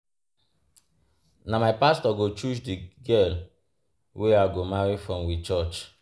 Na my pastor go choose di girl wey I go marry from we church.